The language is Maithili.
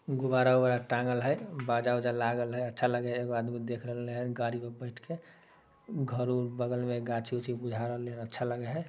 गुब्बारा-उबारा टाँगल है बाजा-यूजा लागल है। अच्छा लगे हय। एगो आदमी देख रहले हय गाड़ी पर बैठ के। घर-उर बगल में अच्छा लगे हैं।